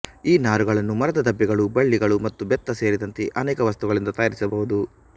ಈ ನಾರುಗಳನ್ನು ಮರದ ದಬ್ಬೆಗಳು ಬಳ್ಳಿಗಳು ಮತ್ತು ಬೆತ್ತ ಸೇರಿದಂತೆ ಅನೇಕ ವಸ್ತುಗಳಿಂದ ತಯಾರಿಸಬಹುದು